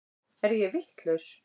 Er ég vitlaus!